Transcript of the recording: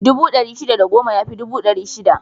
Dubu ɗari shida da goma ya fi dubu ɗari shida.